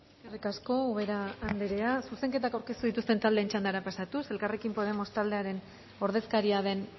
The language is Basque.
eskerrik asko ubera andrea zuzenketak aurkeztu dituzten taldeen txandara pasatuz elkarrekin podemos taldearen ordezkaria den